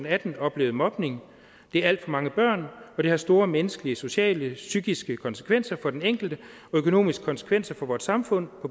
atten oplevet mobning det er alt for mange børn og det har store menneskelige sociale og psykiske konsekvenser for den enkelte og økonomiske konsekvenser for vort samfund